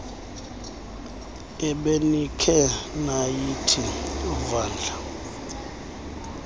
ebenikhe nayithi vandla